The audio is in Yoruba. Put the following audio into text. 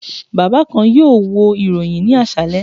Baba kan yoo wo iroyin ni aṣalẹ